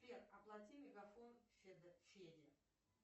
сбер оплати мегафон феде